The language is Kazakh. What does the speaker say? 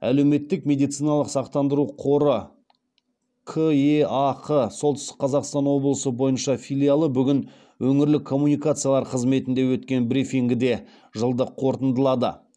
әлеуметтік медициналық сақтандыру қоры кеақ солтүстік қазақстан облысы бойынша филиалы бүгін өңірлік коммуникациялар қызметінде өткен брифингіде жылды қорытындылады